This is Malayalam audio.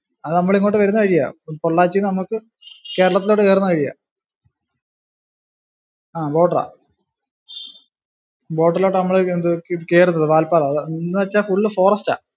അത് നമ്മൾ ഇങ്ങോട്ടു വരുന്ന വഴിയാ. പൊള്ളാച്ചിന്നു നമക്ക് കേരളത്തിലോട്ടു കേറുന്ന വഴിയാ. ആ border ആ. Border ഇലോട്ടു നമ്മള് എന്ന് വെച്ചാ full forest ആ